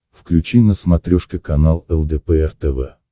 включи на смотрешке канал лдпр тв